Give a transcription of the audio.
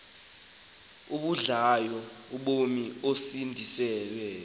abudlayo ubomi osindisiweyo